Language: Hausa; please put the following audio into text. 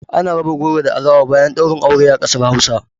Ana raba goro da alawa bayan ɗaurin aure a kasar Hausa